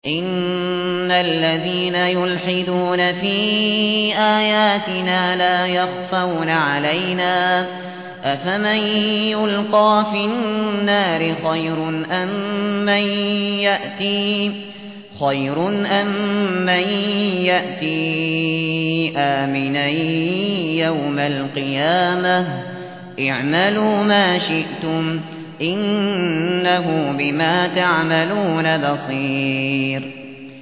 إِنَّ الَّذِينَ يُلْحِدُونَ فِي آيَاتِنَا لَا يَخْفَوْنَ عَلَيْنَا ۗ أَفَمَن يُلْقَىٰ فِي النَّارِ خَيْرٌ أَم مَّن يَأْتِي آمِنًا يَوْمَ الْقِيَامَةِ ۚ اعْمَلُوا مَا شِئْتُمْ ۖ إِنَّهُ بِمَا تَعْمَلُونَ بَصِيرٌ